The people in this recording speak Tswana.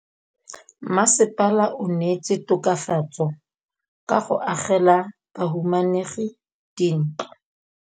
Mmasepala o neetse tokafatsô ka go agela bahumanegi dintlo.